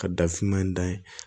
Ka dafinma in da ye